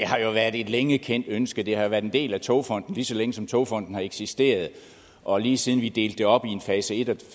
har været et længe kendt ønske det har jo været en del af togfonden dk lige så længe som togfonden dk har eksisteret og lige siden vi delte det op i en fase et og